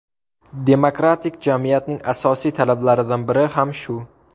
Demokratik jamiyatning asosiy talablaridan biri ham shu .